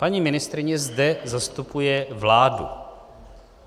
Paní ministryně zde zastupuje vládu.